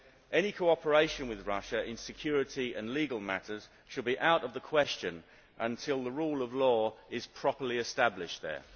Any cooperation with Russia in security and legal matters should be out of the question until the rule of law is properly established there.